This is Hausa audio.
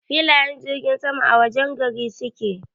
Filayen jirgin sama a wajen gari suke.